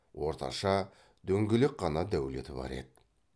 орташа дөңгелек қана дәулеті бар еді